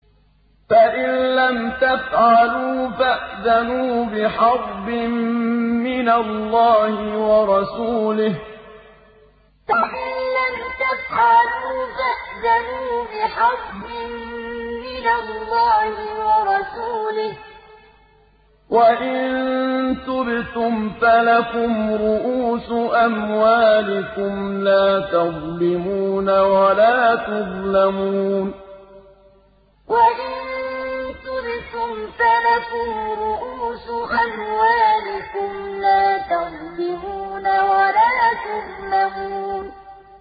فَإِن لَّمْ تَفْعَلُوا فَأْذَنُوا بِحَرْبٍ مِّنَ اللَّهِ وَرَسُولِهِ ۖ وَإِن تُبْتُمْ فَلَكُمْ رُءُوسُ أَمْوَالِكُمْ لَا تَظْلِمُونَ وَلَا تُظْلَمُونَ فَإِن لَّمْ تَفْعَلُوا فَأْذَنُوا بِحَرْبٍ مِّنَ اللَّهِ وَرَسُولِهِ ۖ وَإِن تُبْتُمْ فَلَكُمْ رُءُوسُ أَمْوَالِكُمْ لَا تَظْلِمُونَ وَلَا تُظْلَمُونَ